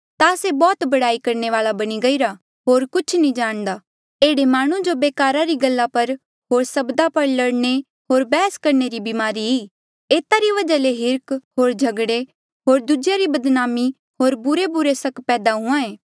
ता से बौह्त बडयाई करणे वाल्आ बणी गईरा होर कुछ नी जाणदा एह्ड़ा माह्णुं जो बेकारा री गल्ला पर होर सब्दा पर लड़ने होर बैहस करणे री ब्मारी ई एता री वजहा ले हिर्ख होर झगड़े होर दूजेया री बदनामी होर बुरेबुरे सक पैदा हुंहां ऐें